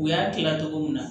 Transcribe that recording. U y'a kila cogo min na